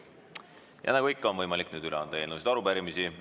Ja nagu ikka, on võimalik üle anda eelnõusid ja arupärimisi.